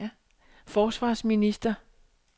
forsvarsminister